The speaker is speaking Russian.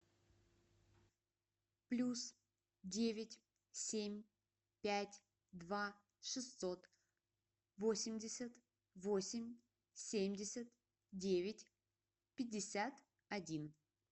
плюс девять семь пять два шестьсот восемьдесят восемь семьдесят девять пятьдесят один